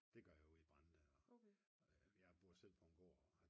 Det gør jeg ude i Brande. Jeg bor selv på en gård